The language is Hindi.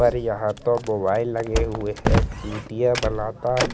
और यहाँ पर मोबाइल लगे हुए है चूतिया बनाता --